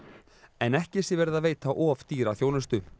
en ekki sé verið að veita of dýra þjónustu